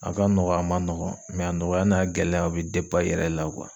A ka nɔgɔn a ma nɔgɔn a nɔgɔya n'a gɛlɛya o be i yɛrɛ la .